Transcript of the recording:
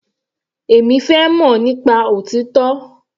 Èmi fẹ́ mọ̀ nípa òtítọ́.